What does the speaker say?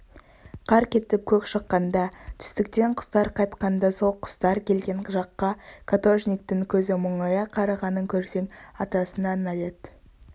қар кетіп көк шыққанда түстіктен құстар қайтқанда сол құстар келген жаққа каторжниктің көзі мұңая қарағанын көрсең атасына налет